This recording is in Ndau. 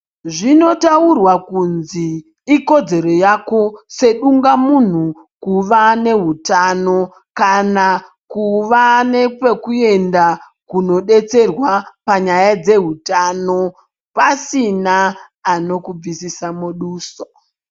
Zvinotaurwa kunzi ikodzero yako sedungamunhu kuva nehutano kana kuva nepekuenda kodetserwa panyaya dzehutano pasina anokubvisisa muduso.